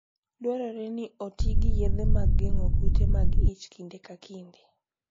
Dwarore ni oti gi yedhe ma geng'o kute mag ich kinde ka kinde.